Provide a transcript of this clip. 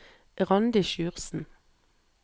Randi Sjursen